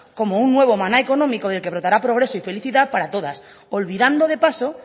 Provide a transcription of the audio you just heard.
como un nuevo maná económico del que brotará progreso y felicidad para todas olvidando de paso